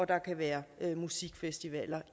der kan være musikfestivaler